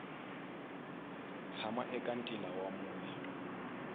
tshaha eka ntila wa mune